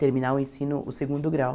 Terminar o ensino, o segundo grau.